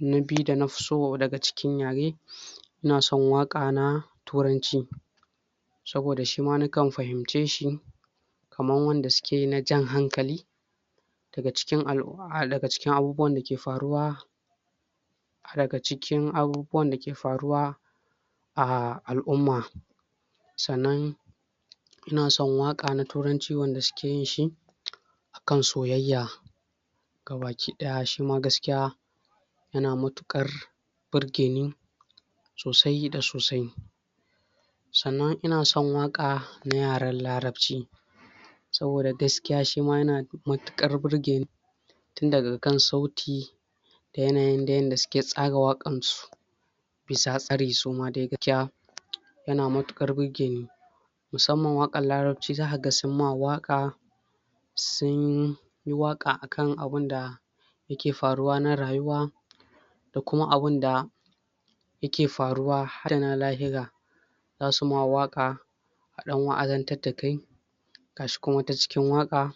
na biyu da na fiso daga cikin yare, ina son waka na turanci saboda shima nakan fahimce shi, kaman wanda suke yi na jan hankali daga cikin al'umm, daga cikin abubuwan dake faruwa daga cikin abubuwan dake faruwa a al'umma sannan ina son waka na turanci wanda suke yin shi akan soyayya gabaki daya shima gaskiya yana mutukar burge ni sosai da sosai. Sannan ina son waka, na yaren larabci saboda gaskiya shima yana mutukar burge ni tun daga kan sauti da yanayin da suke tsaga wakan su yana matukar burge ni musamman wakan larabci za ka ga sun ma waka sun sun yi waka akan abun da yake faruwa na rayuwa da kuma abun da yake faruwa za su ma waka adan da kai gashi kuma wata cikin waka,